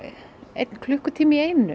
einn klukkutíma í einu